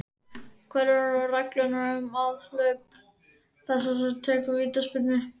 Hverjar eru reglurnar um aðhlaup þess sem tekur vítaspyrnu?